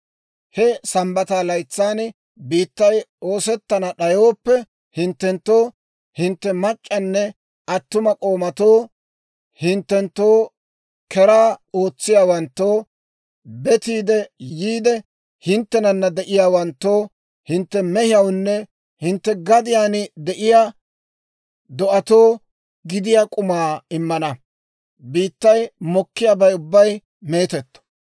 He Sambbata laytsan biittay oosettana d'ayooppe hinttenttoo, hintte mac'c'anne attuma k'oomatoo, hinttenttoo keraa ootsiyaawanttoo, betiide yiide hinttenana de'iyaawanttoo, hintte mehiyawunne hintte gadiyaan de'iyaa do'atoo gidiyaa k'umaa immana; biittay mokkiyaabay ubbay meetetto.